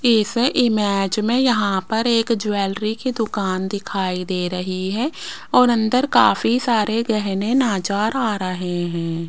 इस इमेज में यहां पर एक ज्वेलरी की दुकान दिखाई दे रही है और अंदर काफी सारे गहने नजर आ रहे हैं।